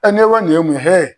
E ne ko nin ye mun ye hɛ